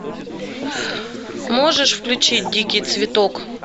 можешь включить дикий цветок